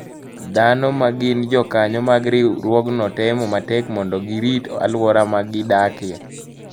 Dhano ma gin jokanyo mag riwruogno temo matek mondo girit alwora ma gidakie.